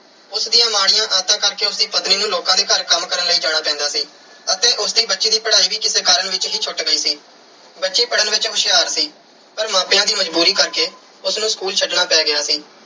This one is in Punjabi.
ਉਸ ਦੀਆਂ ਮਾੜੀਆਂ ਆਦਤਾਂ ਕਰਕੇ ਉਸ ਦੀ ਪਤਨੀ ਨੂੰ ਲੋਕਾਂ ਦੇ ਘਰ ਕੰਮ ਕਰਨ ਲਈ ਜਾਣਾ ਪੈਂਦਾ ਸੀ ਅਤੇ ਉਸ ਦੀ ਬੱਚੀ ਦੀ ਪੜ੍ਹਾਈ ਵੀ ਕਿਸੇ ਕਾਰਨ ਵਿੱਚ ਹੀ ਛੁੱਟ ਗਈ ਸੀ। ਬੱਚੀ ਪੜ੍ਹਨ ਵਿੱਚ ਹੁਸ਼ਿਆਰ ਸੀ ਪਰ ਮਾਪਿਆਂ ਦੀ ਮਜ਼ਬੂਰੀ ਕਰਕੇ ਉਸ ਨੂੰ school ਛੱਡਣਾ ਪੈ ਗਿਆ ਸੀ।